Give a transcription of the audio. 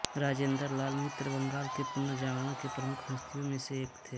राजेन्द्रलाल मित्र बंगाल के पुनर्जागरण के प्रमुख हस्तियों में से एक थे